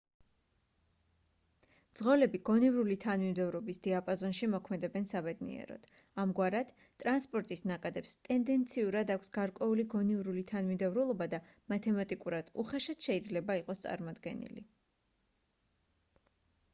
მძღოლები გონივრული თანმიმდევრობის დიაპაზონში მოქმედებენ საბედნიეროდ ამგვარად ტრანსპორტის ნაკადებს ტენდენციურად აქვს გარკვეული გონივრული თანმიმდევრულობა და მათემატიკურად უხეშად შეიძლება იყოს წარმოდგენილი